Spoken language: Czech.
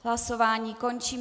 Hlasování končím.